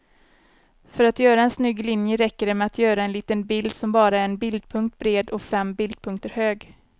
För att göra en snygg linje räcker det med att göra en liten bild som bara är en bildpunkt bred och fem bildpunkter hög.